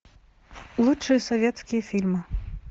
лучшие советские фильмы